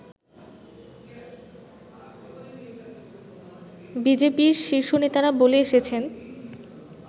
বিজেপির শীর্ষ নেতারা বলে এসেছেন